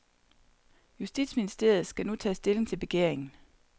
Justitsministeriet skal nu tage stilling til begæringen.